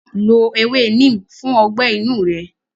Lo ewé Neem fún ọgbẹ́ inú rẹ.